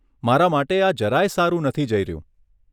મારા માટે આ જરાય સારું નથી જઈ રહ્યું.